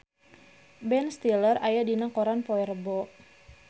Ben Stiller aya dina koran poe Rebo